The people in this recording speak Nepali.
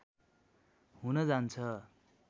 हुन जान्छ